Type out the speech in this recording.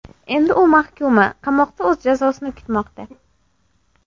Endi u mahkuma, qamoqda o‘z jazosini kutmoqda.